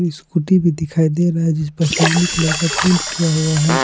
Scooty भी दिखाई दे रहा है जिसपर आसमानी कलर का पेंट किया हुआ है ।